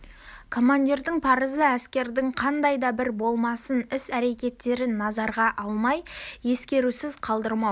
командирдің парызы әскердің қандай да бір болмасын іс-әрекеттерін назарға алмай ескерусіз қалдырмау